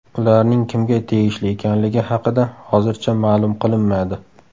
Ularning kimga tegishli ekanligi haqida hozircha ma’lum qilinmadi.